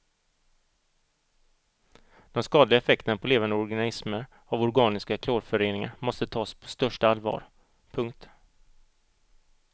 De skadliga effekterna på levande organismer av organiska klorföreningar måste tas på största allvar. punkt